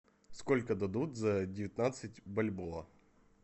сколько дадут за девятнадцать бальбоа